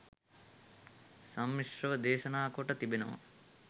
සම්මිශ්‍රව දේශනා කොට තිබෙනවා